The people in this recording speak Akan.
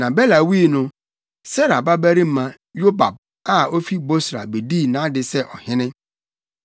Na Bela wui no, Serah babarima Yobab a ofi Bosra bedii nʼade sɛ ɔhene.